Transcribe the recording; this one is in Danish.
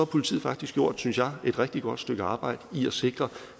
politiet faktisk gjort synes jeg et rigtig godt stykke arbejde i at sikre